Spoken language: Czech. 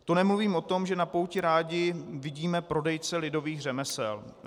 To nemluvím o tom, že na pouti rádi vidíme prodejce lidových řemesel.